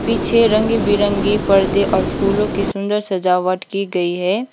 पीछे रंग बिरंगी पर्दे और फूलों की सुंदर सजावट की गई है।